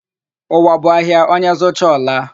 Ụwa bụ ahịa; onye zụcha, ọ laa.